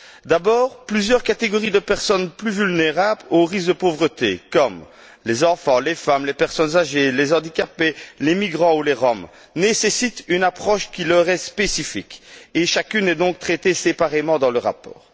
D'abord, plusieurs catégories de personnes plus vulnérables au risque de pauvreté comme les enfants, les femmes, les personnes âgées, les handicapés, les migrants ou les Roms nécessitent une approche qui leur est spécifique et chacune est donc traitée séparément dans le rapport.